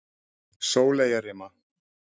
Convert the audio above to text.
Sóleyjarima